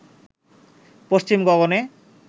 পশ্চিম গগনে